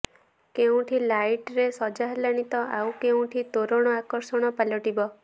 କେଉଁଠି ଲାଇଟରେ ସଜା ହେଲାଣି ତ ଆଉ କେଉଁଠି ତୋରଣ ଆକର୍ଷଣ ପାଲଟିବ